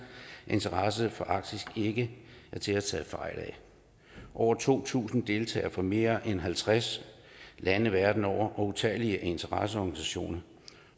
at interessen for arktis ikke er til at tage fejl af over to tusind deltagere fra mere end halvtreds lande verden over og utallige interesseorganisationer